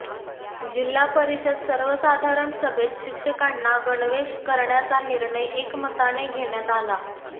जिल्हा परिषद सर्वसाधारण सभेत शिक्षकांना गणवेश करण्याचा निर्णय एकमताने घेण्यात आला